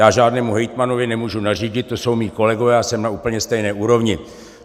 Já žádnému hejtmanovi nemůžu nařídit, to jsou mí kolegové, já jsem na úplně stejné úrovni.